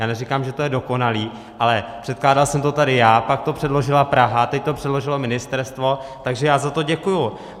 Já neříkám, že to je dokonalé, ale předkládal jsem to tady já, pak to předložila Praha, teď to předložilo ministerstvo, takže já za to děkuji.